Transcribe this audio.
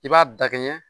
I b'a dakɛɲɛ